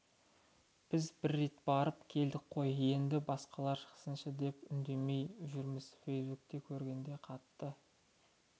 біз бір рет барып келдік қой енді басқалар шықсыншы деп үндемей жүрміз фейсбукте көргенде қатты